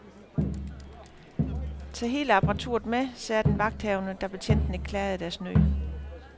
Tag hele apparaturet med, sagde den vagthavende, da betjentene klagede deres nød.